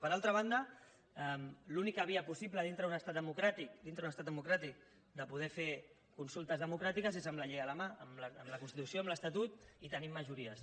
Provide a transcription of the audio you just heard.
per altra banda l’única via possible dintre d’un estat democràtic dintre d’un estat democràtic de poder fer consultes democràtiques és amb la llei a la mà amb la constitució amb l’estatut i tenint majories